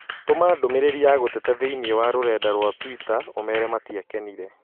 Tũma ndũmĩrĩri ya gũteta thĩinĩ wa rũrenda rũa tũita ũmeere matiakenire